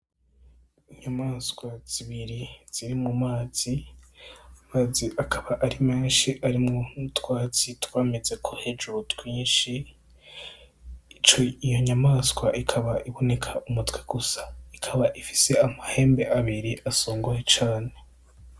Inyamaswa zibiri ziri mu mazi, ayo mazi akaba ari menshi arimwo n'utwatsi twamezeko hejuru twinshi. Iyo nyamaswa ikaba iboneka umutwe gusa, ikaba ifise amahembe abiri usongoye cane.